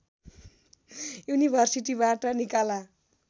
युनिभर्सिटीबाट निकाला